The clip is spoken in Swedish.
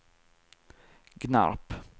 Gnarp